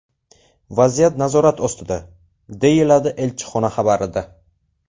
Vaziyat nazorat ostida”, deyiladi elchixona xabarida.